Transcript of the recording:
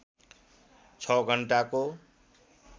६ घण्टाको